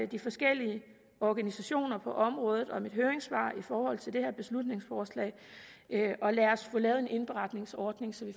de forskellige organisationer på området om et høringssvar i forhold til det her beslutningsforslag og lad os få lavet en indberetningsordning så vi